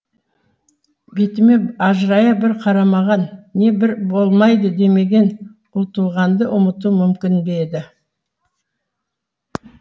бетіме ажырая бір қарамаған не бір болмайды демеген ұлтуғанды ұмыту мүмкін бе еді